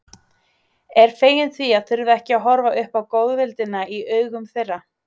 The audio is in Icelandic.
Er fegin því að þurfa ekki að horfa upp á góðvildina í augum þeirra.